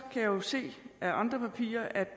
jeg se af andre papirer at de